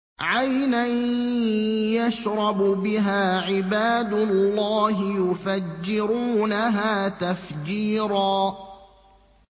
عَيْنًا يَشْرَبُ بِهَا عِبَادُ اللَّهِ يُفَجِّرُونَهَا تَفْجِيرًا